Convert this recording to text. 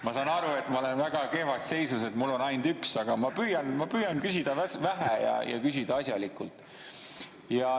Ma saan aru, et ma olen väga kehvas seisus, et mul on neid ainult üks, aga ma püüan küsida vähe ja küsida asjalikult.